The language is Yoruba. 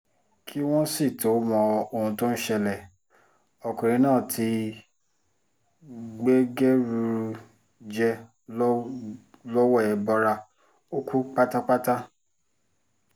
kí wọ́n sì tóó mọ ohun tó ń ṣẹlẹ̀ ọkùnrin náà ti gbẹgẹrúrú jẹ́ lọ́wọ́ ẹbọra ó kú pátápátá